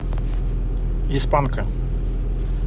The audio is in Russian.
из панка